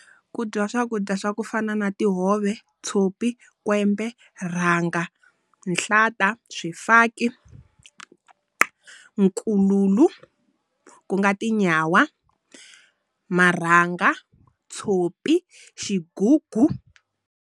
Ku dyiwa swakudya swa ku fana na tihove, tshopi, kwembe, rhanga, nhlata, swifaki, nkululu ku nga tinyawa. Marhanga, tshopi, xigugu.